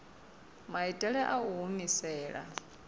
maitele a u i humisela